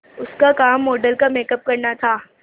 उसका काम मॉडल का मेकअप करना था